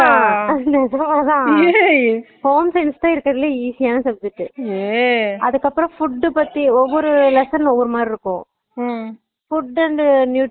ஆமா நிஜம்தான் home science தா இருக்காறதுலையே easy ஆனா subject அதுக்கு அப்பறோ food பத்தி ஒவ்வொரு lesson உம் ஒவ்வொரு மாறி இருக்கும் food nutrition